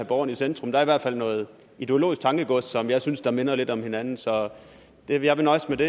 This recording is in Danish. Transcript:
borgerne i centrum er der i hvert fald noget ideologisk tankegods som jeg synes minder lidt om hinanden så jeg vil nøjes med det